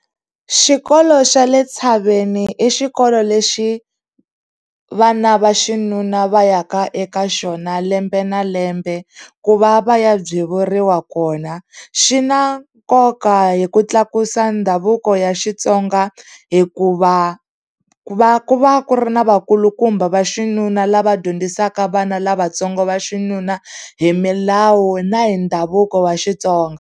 Xikolo xa le tshaveni i xikolo lexi vana va xinuna va ya ka eka xona lembe na lembe ku va va ya byewuriwa kona. Xi na nkoka hi ku tlakusa ndhavuko ya Xitsonga hikuva ku va ku va ku ri na vakulukumba va xinuna lava dyondzisaka vana lavatsongo va xinuna hi milawu na hi ndhavuko wa Xitsonga.